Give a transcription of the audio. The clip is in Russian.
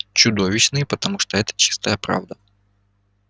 чудовищные потому что это чистая правда